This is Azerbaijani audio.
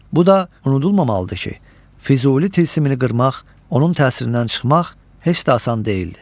Bu da unudulmamalıdır ki, Füzuli tilsimini qırmaq, onun təsirindən çıxmaq heç də asan deyildi.